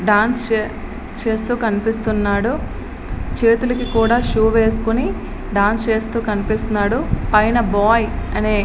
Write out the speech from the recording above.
dance చేస్తూ కనిపిస్తున్నాడు చేతులకు కూడా షూ వేసికొని డాన్స్ వస్తూన్నారు పైన బాయ్ అనే--